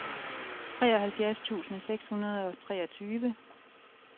treoghalvfjerds tusind seks hundrede og treogtyve